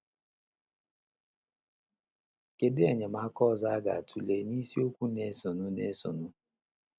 Kedu Enyemaka ọzọ a ga - atụle n’isiokwu na - esonụ na - esonụ?